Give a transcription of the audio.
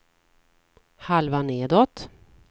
halva nedåt